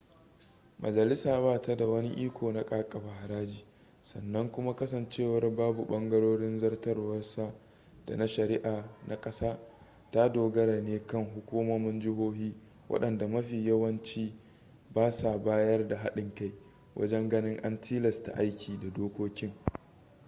majalisa ba ta da wani iko na kakaba haraji sannan kuma kasancewar babu ɓangarorin zartaswa da na shari'a na ƙasar ta dogara ne kan hukumomin jihohi waɗanda mafi yawanci ba sa bayar da haɗin kai wajen ganin an tilasta aiki da dokokin